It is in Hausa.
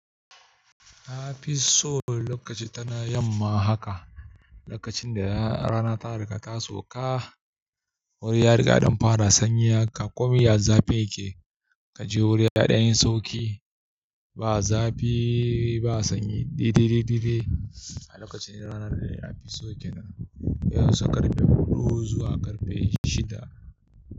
Afi so lokaci tana yamma haka, lokacin da rana ta riga ta sauka. Wuri ya riga don fara sanyi haka. Komai ya zafi yake. Ka je wuri yaɗa yin sauki. Ba zafi, ba sanyi. Ɗiɗiɗiɗiɗe. A lokacin ranar da ya fi sauke nan. Ya sa karfe huɗu zuwa karfe shida.